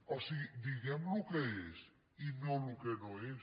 o sigui diguem el que és i no el que no és